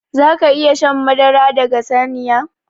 Zaka iƴa shan madara daga saniya?